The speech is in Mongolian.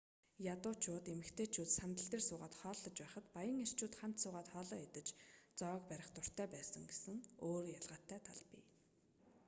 ядуучууд эмэгтэйчүүд сандал дээр суугаад хооллож байхад баян эрчүүд хамт суугаад хоолоо идэж зоог барих дуртай байсан гэсэн өөр ялгаатай тал бий